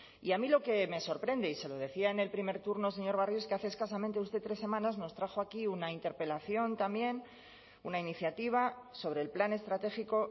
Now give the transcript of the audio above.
y a mí lo que me sorprende y se lo decía en el primer turno señor barrio es que hace escasamente usted tres semanas nos trajo aquí una interpelación también una iniciativa sobre el plan estratégico